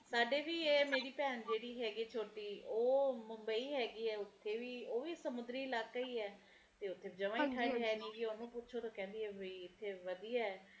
ਸਾਡੇ ਵੀ ਮੇਰੇ ਭੈਣ ਜਿਹੜੇ ਹੈਗੇ ਐ ਛੋਟੀ ਉਹ ਮੁੰਬਈ ਹੇਗੀ ਐ ਓਥੇ ਵੀ ਉਹ ਵੀ ਸਮੁੰਦਰੀ ਇਲਾਕਾ ਹੀ ਐ ਤੇ ਓਥੇ ਜਵਾ ਠੰਡ ਹੈ ਨੀ ਗੀ ਓਹਨੂੰ ਪੁਸ਼ੋ ਤਾ ਕਹਿੰਦੀ ਐ ਕੀ ਇਥੇ ਵਧੀਆ